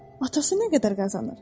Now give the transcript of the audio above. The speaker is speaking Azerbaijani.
Atası nə qədər qazanır?